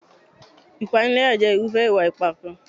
Ìpániláyà jẹ́ irúfẹ́ ìwà ipá kan.